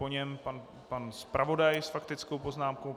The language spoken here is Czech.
Po něm pan zpravodaj s faktickou poznámkou.